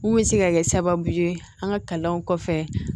Mun bɛ se ka kɛ sababu ye an ka kalanw kɔfɛ